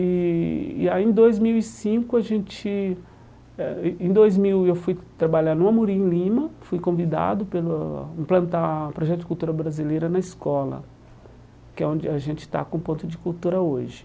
E e aí em dois mil e cinco a gente ah em dois mil, eu fui trabalhar no Amorim, em Lima, fui convidado para implantar o Projeto de Cultura Brasileira na escola, que é onde a gente está com o Ponto de Cultura hoje.